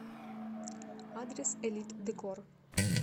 адрес элит декор